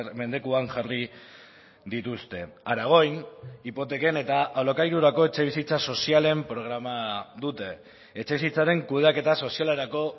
mendekuan jarri dituzte aragoin hipoteken eta alokairurako etxebizitza sozialen programa dute etxebizitzaren kudeaketa sozialerako